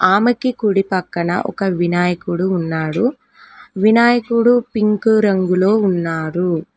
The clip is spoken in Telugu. ఆమెకి కుడి పక్కన ఒక వినాయకుడు ఉన్నాడు వినాయకుడు పింకు రంగులో ఉన్నాడు.